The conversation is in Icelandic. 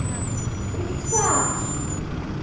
Frítt far.